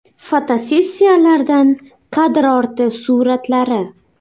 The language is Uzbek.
Fotosessiyalardan kadr orti suratlari.